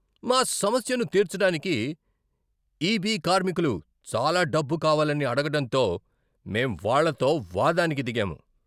మా సమస్యను తీర్చడానికి ఇబి కార్మికులు చాలా డబ్బు కావాలని అడగడంతో మేం వాళ్ళతో వాదానికి దిగాము.